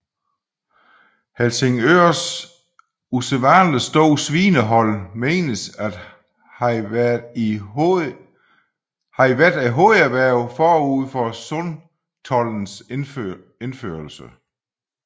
Helsingørs usædvanlig store svinehold menes at have været hovederhvervet forud for sundtoldens indførelse